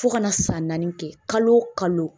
Fo kana san naani kɛ kalo o kalo